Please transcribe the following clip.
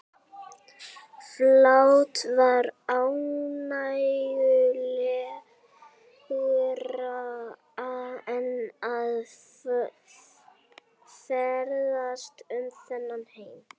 Fátt var ánægjulegra en að ferðast um þennan heim.